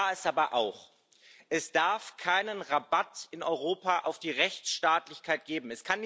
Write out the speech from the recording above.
Klar ist aber auch Es darf keinen Rabatt in Europa auf die Rechtsstaatlichkeit geben.